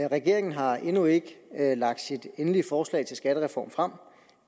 regeringen har endnu ikke lagt sit endelige forslag til en skattereform frem